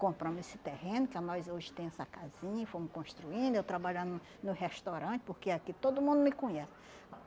compramos esse terreno, que nós hoje tem essa casinha, fomos construindo, eu trabalhando no restaurante, porque aqui todo mundo me conhece.